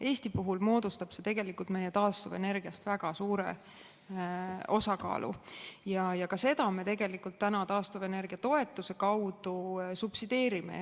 Eesti puhul moodustab see tegelikult meie taastuvenergiast väga suure osakaalu ja ka seda me tegelikult täna taastuvenergia toetuse kaudu subsideerime.